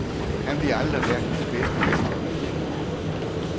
Han bliver aldrig verdens bedste ishockeyspiller.